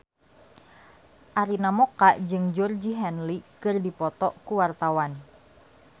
Arina Mocca jeung Georgie Henley keur dipoto ku wartawan